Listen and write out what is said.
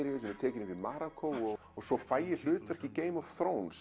er tekin upp í Marokkó svo fæ ég hlutverk í Game of